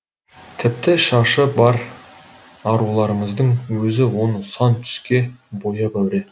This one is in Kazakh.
тіпті шашы бар аруларымыздың өзі оны сан түске бояп әуре